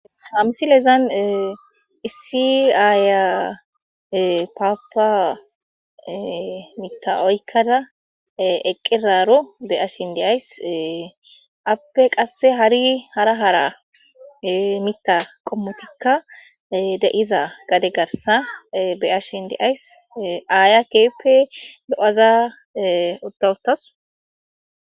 hamisile izan issi aaya paapa mita7oykkada eqqeraro be ashin deays appe qasse hari hara hara mita qommotikka de7iza gade garsa beashin deays aaya keeppe do7ada uta utawus